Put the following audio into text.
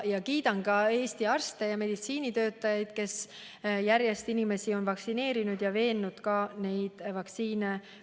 Kiidan ka Eesti arste ja teisi meditsiinitöötajaid, kes on järjest inimesi vaktsineerinud ja veennud rahvast end vaktsineerida laskma.